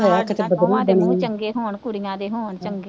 ਦੇ ਮੂੰਹ ਚੰਗੇ ਹੋਣ, ਕੁੜੀਆਂ ਦੇ ਹੋਣ